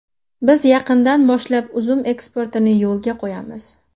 Biz yaqindan boshlab uzum eksportini yo‘lga qo‘yamiz.